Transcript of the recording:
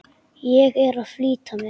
Ég er að flýta mér!